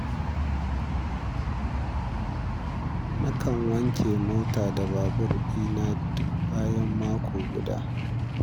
Nakan wanke mota da babur ɗina duk bayan mako guda.